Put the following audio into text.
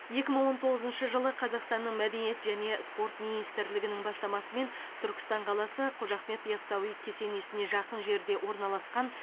екі мың он тоғызыншы жылы қазақстанның мәдениет және спорт министрлігінің бастамасымен түркістан қаласы қожа ахмет ясауи кесенесіне жақын жерде орналасқан